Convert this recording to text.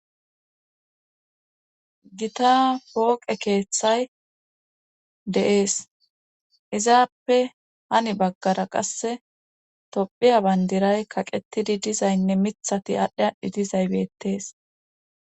gita pooqe keeththay de7ees izaappe hani baggara qasse tophiya bandiray kaqetidi dizaynne mithati aadhdhi aadhdhi dizaybetees